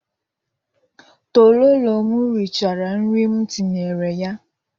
Tololo m richara nri m tinyere ya.